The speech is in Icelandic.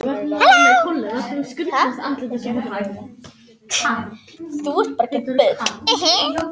Svo velta þau fyrir sér hvernig Noregskonungur komi.